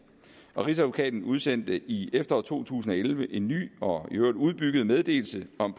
rigsadvokaten udsendte i efteråret to tusind og elleve en ny og i øvrigt udbygget meddelelse om